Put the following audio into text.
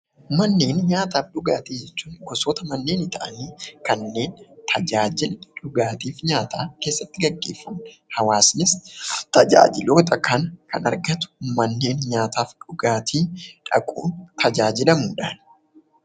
Manneen nyaataa fi dhugaatii jechuun gosoota manneenii ta'anii kanneen tajaajila dhugaatii fi nyaataa keessatti gaggeeffamudha. Hawaasnis tajaajiloota kana kan argatu fakkeenyaaf kan akka dhugaatii dhaquun tajaajilamudha.